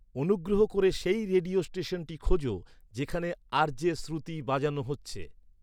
অনুগ্রহ করে সেই রেডিও স্টেশনটি খোঁজো যেখানে আর.জে শ্রুতি বাজানো হচ্ছে